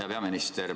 Hea peaminister!